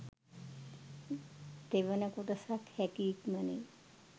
තෙවන කොටසත් හැකි ඉක්මනින්